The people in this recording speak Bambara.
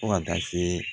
Fo ka taa se